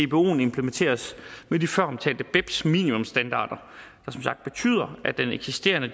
dboen implementeres med de føromtalte beps minimumsstandarder der som sagt betyder at den eksisterende